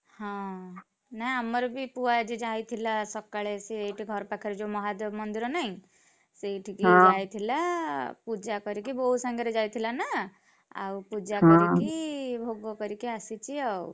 ହଁ ନାଇଁ ଆମର ବି ପୁଅ ଆଜି ଯାଇଥିଲା ସକାଳେ ସେ ଏଇଠି ଘର ପାଖରେ ଯୋଉ ମହାଦେବ ମନ୍ଦିର ନାହିଁ ସେଇଠିକି, ଯାଇଥିଲା ପୂଜା କରିକି ବୋଉ ସାଙ୍ଗରେ ଯାଇଥିଲା ନା, ଆଉ ପୂଜା କରିକି ଭୋଗ କରିକି ଆସିଛି ଆଉ।